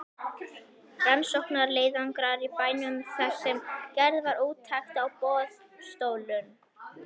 Rannsóknarleiðangrar í bænum þar sem gerð var úttekt á boðstólum.